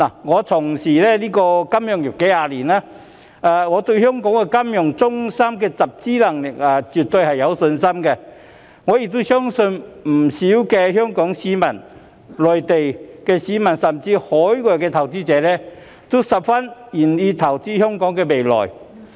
我從事金融業數十年，對香港這金融中心的集資能力絕對有信心，亦相信不少香港市民、內地市民，甚至海外投資者都十分願意投資香港的未來。